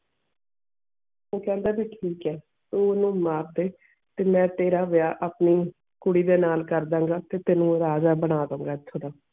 ਉਹ ਕੈਨਡਾ ਵੀ ਠੀਕ ਇਹ ਤੂੰ ਓਨੁ ਮਾਰ ਦੇ ਤੇ ਮੈਂ ਤੇਰਾ ਵਿਆਹ ਆਪਣੀ ਕੁੜੀ ਦੇ ਨਾਲ ਕਰਦਿਆਂ ਗਏ ਫਿਰ ਤੈਨੂੰ ਰਾਜਾ ਬਣ ਦੁ ਗਏ ਐਥੇ ਦਾ.